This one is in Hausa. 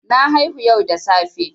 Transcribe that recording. Na haihu yau da safe.